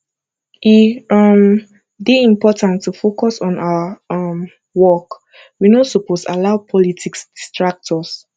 e um dey important to focus on our um work we no suppose allow politics distract us